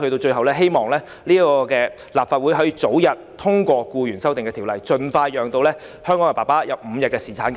最後，我希望立法會能早日通過《條例草案》，盡快讓香港的父親享有5天侍產假。